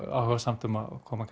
áhugasamt um að koma